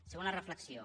segona reflexió